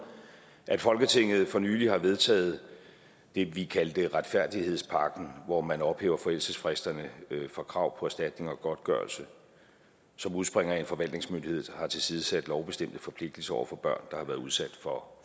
at folketinget for nylig har vedtaget det vi kaldte retfærdighedspakken hvor man ophæver forældelsesfristerne for krav på erstatning og godtgørelse som udspringer af at en forvaltningsmyndighed har tilsidesat lovbestemte forpligtelser over for børn der har været udsat for